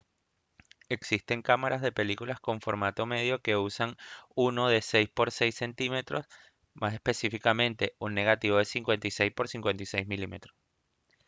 existen cámaras de películas con formato medio que usan uno de 6 por 6 cm más específicamente un negativo de 56 por 56 mm